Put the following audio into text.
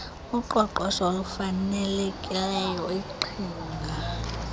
uqoqosho olufanelekileyo iqhinga